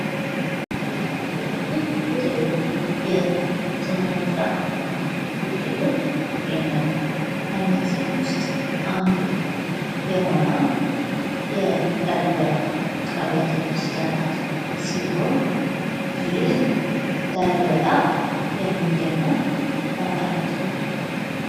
በሀገራችን የተለያዩ የስነህንጻ ውጤቶች ይገኛሉ ከነዚህም ውስጥ አንዱ የሆነው የላሊበላ ውቅር አብያተ ክርስቲያናት ሲሆን ይህ ላሊበላ የሚገኘው በአማራ ክልል ነው።